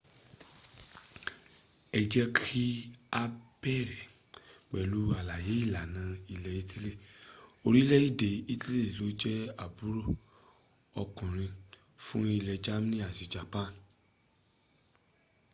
ẹ jẹ́ kí á bẹ̀rẹ̀ pẹ̀lú àlàyé ìlànà ilẹ̀ italy orílẹ̀èdè italy ló jẹ́ àbúrò ọkùnrin fún ilẹ̀ germany àti japan